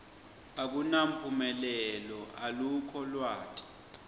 akunamphumelelo alukho lwati